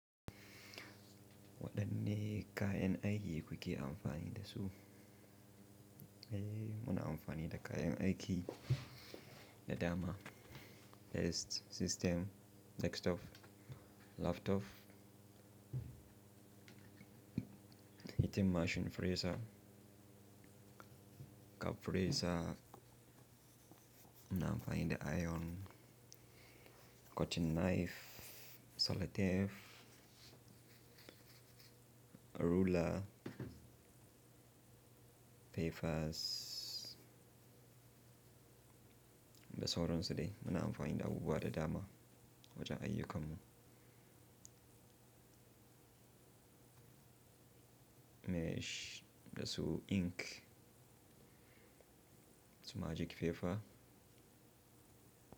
Wadanne kayan aiki kuke amfani da su? Eh, muna amfani da kayan aiki da dama. Desk system, desktop, laptop, hitting machine freezer, cup freezer, muna amfani da iron, cutting knife, seletep, ruler, papers, da sauransu dai. Muna amfani da abubuwa da dama wajen ayyukanmu. Mesh da su ink, su magic paper.